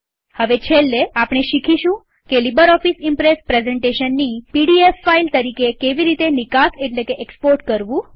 હવે છેલ્લે આપણે શીખીશું કે લીબરઓફીસ ઈમ્પ્રેસ પ્રેઝન્ટેશનની પીડીએફ ફાઈલ તરીકે કેવી રીતે નિકાસ એટલેકે એક્સપોર્ટ કરવું